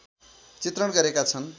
चित्रण गरेका छन्